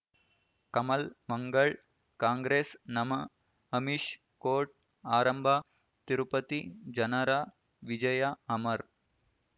ಕಮಲ್ ಮಂಗಳ್ ಕಾಂಗ್ರೆಸ್ ನಮಃ ಅಮಿಷ್ ಕೋರ್ಟ್ ಆರಂಭ ತಿರುಪತಿ ಜನರ ವಿಜಯ ಅಮರ್